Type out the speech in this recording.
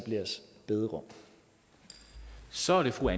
bederum så derfor